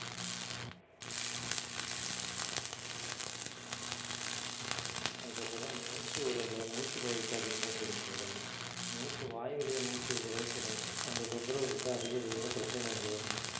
அதுக்கப்புறம் மூச்சு விடல மூச்சு பயிற்சி அதிகமா செய்யணும் முதல்ல மூச்சு வாய் வழியே மூச்சு விடவே கூடாது அந்த தொந்தரவு வந்து அதிகப்படியான பிரச்சனைகளை உருவாகும்